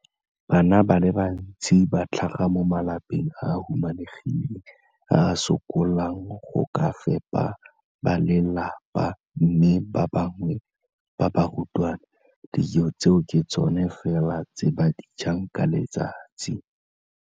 Bana ba le bantsi ba tlhaga mo malapeng a a humanegileng a a sokolang go ka fepa ba lelapa mme ba bangwe ba barutwana, dijo tseo ke tsona fela tse ba di jang ka letsatsi.